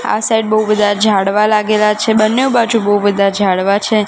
આ સાઇડ બહુ બધા ઝાડવા લાગેલા છે બંનેઉ બાજુ બહુ બધા ઝાડવા છે.